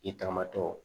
I tanmatɔ